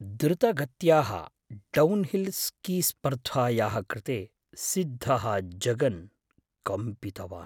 द्रुतगत्याः downhill स्कीस्पर्धायाः कृते सिद्धः जगन् कम्पितवान्।